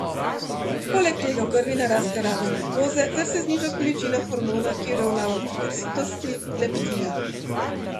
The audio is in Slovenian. Poleg tega v krvi naraste raven glukoze ter se zniža količina hormona, ki uravnava občutek sitosti, leptina.